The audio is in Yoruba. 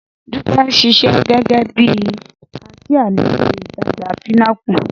Dúpẹ́ ń ṣiṣẹ́ gẹ́gẹ́ bí kaṣíá nílé-ìtajà Pinnacle